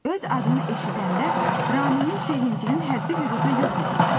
Öz adını eşidəndə Ramimin sevincinin həddi-hüdudu yox idi.